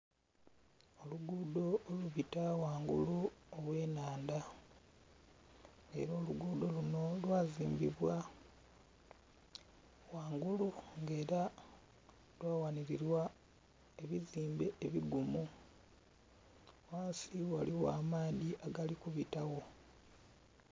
Olugudho olubita ghangulu oghenhandha era olugudho luno lwazimbibwa ghangulu nga era lwawanirirwa ebizimbe ebigumu, ghansi ghaligho amaadhi agali kubitagho.